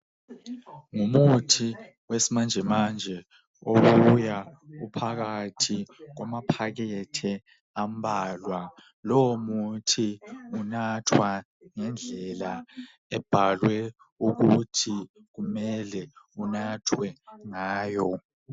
Umuthi wesimanjemanje obuya uphakathi kwamaphakethe ambalwa lowo muthi unathwa ngendlela ebhalwe ukuthi kumele unathwe ngayo